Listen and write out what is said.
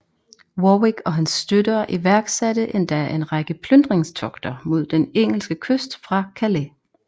Warwick og hans støtter iværksatte endda en række plyndringstogter mod den engelske kyst fra Calais